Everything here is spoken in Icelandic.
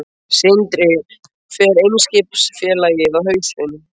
Sindri: Fer Eimskipafélagið á hausinn?